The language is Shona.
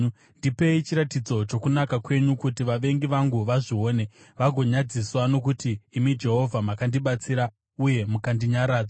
Ndipei chiratidzo chokunaka kwenyu, kuti vavengi vangu vazvione vagonyadziswa, nokuti imi Jehovha makandibatsira uye mukandinyaradza.